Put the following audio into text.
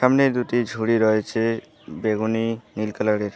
সামনে দুটি ঝুড়ি রয়েছে বেগুনি নীল কালারের।